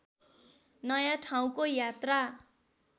नयाँ ठाउँको यात्रा